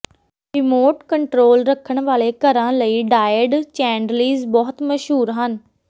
remote control ਰੱਖਣ ਵਾਲੇ ਘਰਾਂ ਲਈ ਡਾਇਡ ਚੈਂਡਲਿਜ਼ ਬਹੁਤ ਮਸ਼ਹੂਰ ਹਨ